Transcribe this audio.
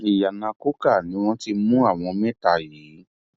ìyànà coker ni wọn ti mú àwọn mẹta yìí